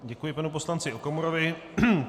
Děkuji panu poslanci Okamurovi.